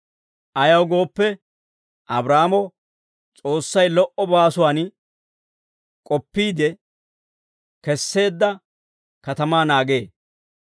Ayaw gooppe, Abraahaamo S'oossay lo"o baasuwaan k'oppiide kees's'eedda katamaa naagee.